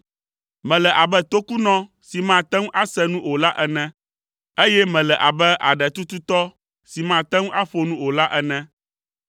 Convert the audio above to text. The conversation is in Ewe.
Mele abe tokunɔ si mate ŋu ase nu o la ene, eye mele abe aɖetututɔ si mate ŋu aƒo nu o la ene.